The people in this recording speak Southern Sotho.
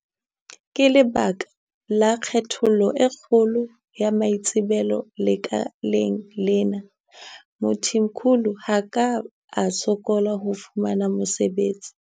Ka lebaka la kgaello e kgolo ya maitsebelo lekaleng lena, Mthimkhulu ha a ka a sokola ho fumana mosebetsi.